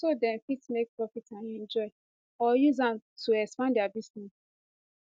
so dem fit make profit and enjoy or use am to expand dia business